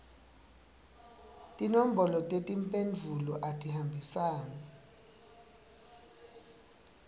tinombolo tetimphendvulo atihambisane